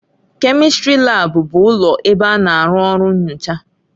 Kèmistrị laabu bụ ụlọ ebe a na-arụ ọrụ nnyocha.